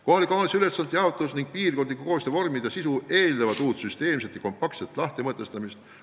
Kohaliku omavalitsuse ülesannete jaotus ning piirkondliku koostöö vormide sisu eeldavad uut süsteemset ja kompaktset lahtimõtestamist.